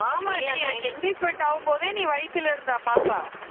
ஆமாடி எனக்கு engagement ஆகும்போதே நீ வயித்துல இருந்தா பாப்பா